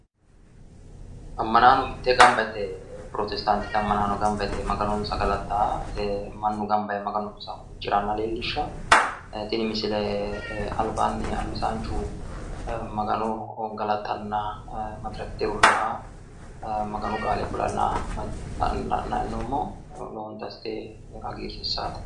ammanaano mittee gamba yite pirotestaantete ammanaano mitteenni gamba yite maganonsa galattanni ee mannu gamba yee maganonsa huucciranna leellishshanno ee tini misile albaanni albissaanchu ee magano galaxxanna urrinoha maganu qaale kulanna la'nanni hee'noommo lowonta assite hagiirsiissaate.